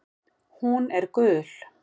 Hún er gul.